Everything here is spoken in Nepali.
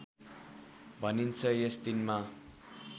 भनिन्छ यस दिनमा